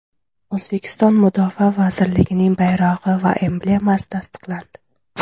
O‘zbekiston Mudofaa vazirligining bayrog‘i va emblemasi tasdiqlandi.